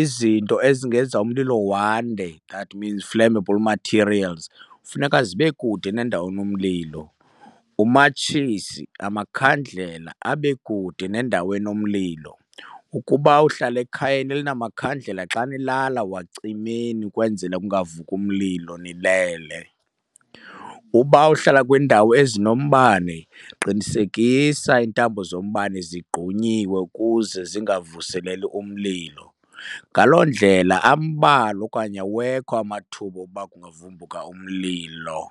Izinto ezingenza umlilo wande, that means flammable materials, funeka zibe kude nandawo enomlilo, umatshisi namakhandlela abe kude nendawo enomlilo. Ukuba uhlala ekhayeni elinamakhandlela xa nilala wacimeni ukwenzela kungavuki umlilo nilele. Uba uhlala kwiindawo ezinombane qinisekisa iintambo zombane zigqunyiwe ukuze zingavuseleli umlilo. Ngaloo ndlela ambalwa okanye awekho amathuba okuba kungavumbuka umlilo.